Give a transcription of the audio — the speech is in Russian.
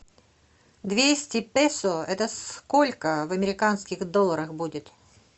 двести песо это сколько в американских долларах будет